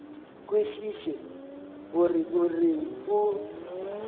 kwešiše gore o reng o